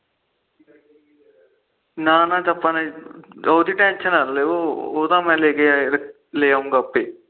ਨਾ ਨਾ ਅੱਜ ਆਪਾ ਨੇ ਉਹਦੀ ਟੈਨਸ਼ਨ ਨਾ ਲਿਓ ਉਹ ਤਾ ਮੈ ਲੇਕੇ ਆਇਆ ਲਾ ਆਉਂਗਾ ਆਪੇ